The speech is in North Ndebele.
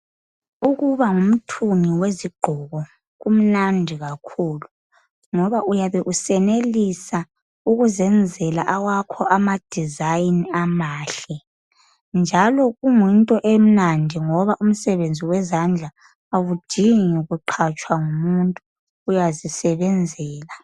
Ukuba ngumthungi wezigqoko, kumnandi kakhulu ngoba uyabe usenelisa ukuzenzela awakho amadesign amahle. Njalo, kuyinto emnandi ngoba umsebenzi wezandla awudingi kuqhatshwa ngumuntu, uyazisebenzela.